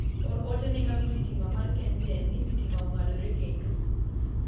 or ote ne kambi sitima ma kengen ni sitima ong'adore kendo